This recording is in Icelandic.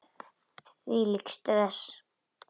Hvílíkt stress!